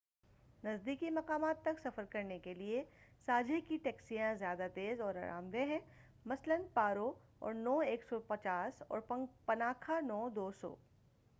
نزدیکی مقامات تک سفر کرنے کے لئے ساجھے کی ٹیکسیا ں زیادہ تیز اور آرام دہ ہیں، مثلاً پارو اور نو 150 اور پناکھا نو 200۔